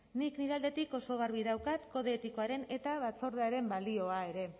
nik nire aldetik oso garbi daukat kode etikoaren eta batzordearen balioa ere